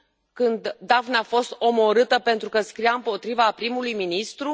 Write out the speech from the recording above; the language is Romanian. Când Daphne a fost omorâtă pentru că scria împotriva primului ministru?